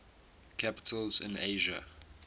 capitals in asia